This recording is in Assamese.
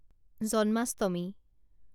জন্মাষ্টমী